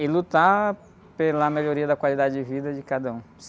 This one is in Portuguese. E lutar pela melhoria da qualidade de vida de cada um.